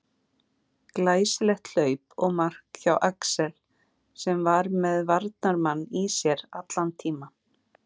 Glæsilegt hlaup og mark hjá Axel sem að var með varnarmann í sér allan tímann.